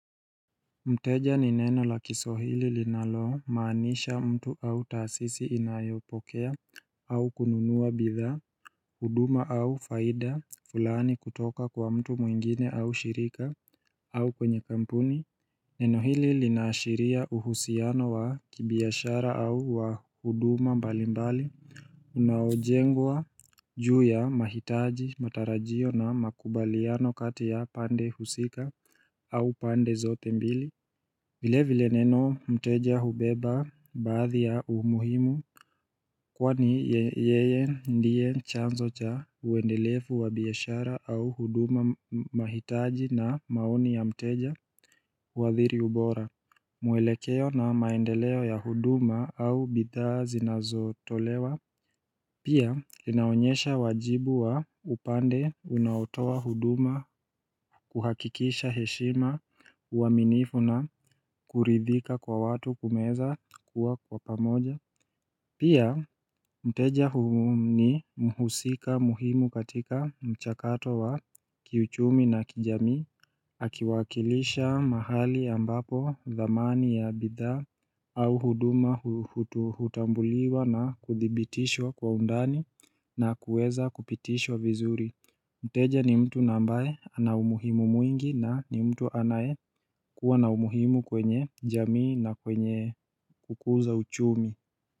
Mteja ni neno la kiswahili linalo maanisha mtu au taasisi inayopokea au kununua bidhaa, huduma au faida, fulani kutoka kwa mtu mwingine au shirika au kwenye kampuni, neno hili lina ashiria uhusiano wa kibiashara au wa huduma mbali mbali Unaojengwa juu ya mahitaji, matarajio na makubaliano kati ya pande husika au pande zote mbili vile vile neno mteja hubeba baadhi ya umuhimu Kwani yeye ndiye chanzo cha uendelefu wa biashara au huduma mahitaji na maoni ya mteja huadhiri ubora mwelekeo na maendeleo ya huduma au bidhaa zinazotolewa Pia linaonyesha wajibu wa upande unaotoa huduma kuhakikisha heshima uaminifu na kuridhika kwa watu kumeza kuwa kwa pamoja Pia mteja huu ni mhusika muhimu katika mchakato wa kiuchumi na kijamii Akiwakilisha mahali ambapo thamani ya bidhaa au huduma hutambuliwa na kuthibitishwa kwa undani na kuweza kupitishwa vizuri Mteja ni mtu na ambaye ana umuhimu mwingi na ni mtu anaye kuwa na umuhimu kwenye jamii na kwenye kukuza uchumi.